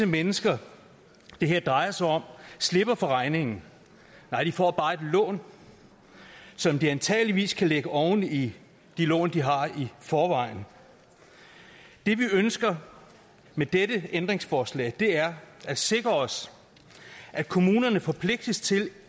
mennesker det her drejer sig om slipper for regningen nej de får bare et lån som de antageligvis kan lægge oven i de lån de har i forvejen det vi ønsker med dette ændringsforslag er at sikre os at kommunerne forpligtes til